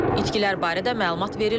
İtkilər barədə məlumat verilmir.